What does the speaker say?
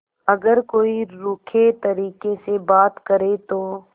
अगर कोई रूखे तरीके से बात करे तो